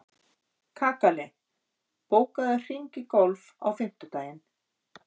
Kakali, bókaðu hring í golf á fimmtudaginn.